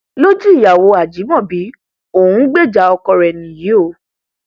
lójú ìyàwó ajímọbí òun ń gbèjà ọkọ rẹ nìyí o